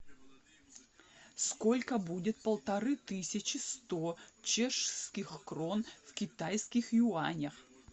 сколько будет полторы тысячи сто чешских крон в китайских юанях